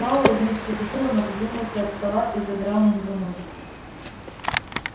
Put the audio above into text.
пауэлл вместе со стулом отодвинулся от стола и задрал на него ноги